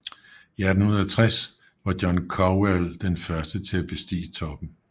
I 1860 var John Cowell den første til at bestige toppen